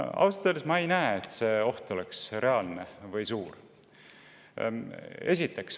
Ausalt öeldes ma ei näe, et see oht oleks reaalne või suur.